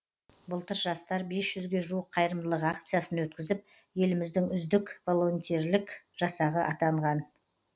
былтыр жастар бес жүзге жуық қайырымдылық акциясын өткізіп еліміздің үздік волонтерлік жасағы атанған